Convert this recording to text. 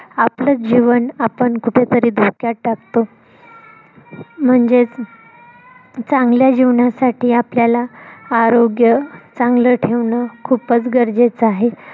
आपलंच जीवन आपण कुठे तरी धोक्यात टाकतो. म्हणजे चांगल्या जीवनासाठी आपल्याला आरोग्य चांगल ठेवणं खूपच गरजेच आहे.